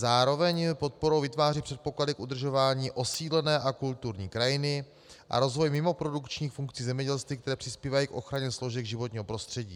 Zároveň podporou vytváří předpoklady k udržování osídlené a kulturní krajiny a rozvoj mimoprodukčních funkcí zemědělství, které přispívají k ochraně složek životního prostředí.